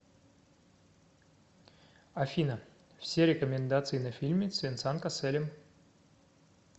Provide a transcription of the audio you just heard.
афина все рекомендации на фильмы с венсан коселем